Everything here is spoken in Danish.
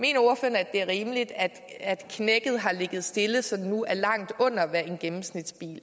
at det er rimeligt at knækket har ligget stille så det nu er langt under hvad en gennemsnitsbil